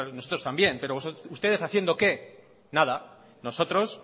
nosotros también pero ustedes haciendo qué nada nosotros